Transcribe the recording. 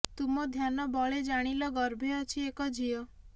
ତୁମ ଧ୍ୟାନ ବଳେ ଜାଣିଲ ଗର୍ଭେ ଅଛି ଏକ ଝିଅ